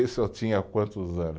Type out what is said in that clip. Isso eu tinha quantos anos?